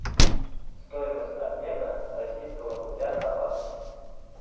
стоимость обмена российского рубля на баксы